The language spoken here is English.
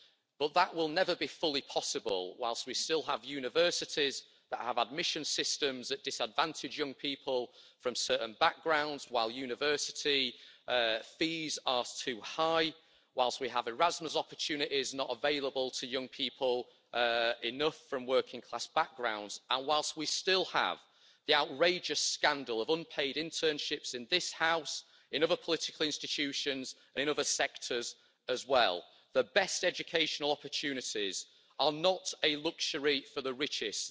But that will never be fully possible while we still have universities that have admissions systems that disadvantage young people from certain backgrounds, while university fees are too high, while we have Erasmus opportunities not available to enough young people from working class backgrounds, and while we still have the outrageous scandal of unpaid internships in this House, in other political institutions and in other sectors as well. The best educational opportunities are not a luxury for the richest.